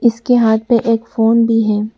इसके हाथ पे एक फोन भी है।